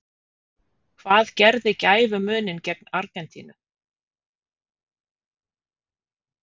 Hvað gerði gæfumuninn gegn Argentínu?